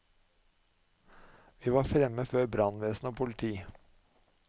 Vi var fremme før brannvesen og politi.